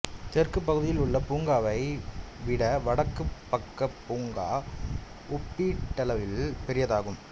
தெற்குப் பகுதியில் உள்ள பூங்காவை விட வடக்குப் பக்க பூங்கா ஒப்பீட்டளவில் பெரியதாகும்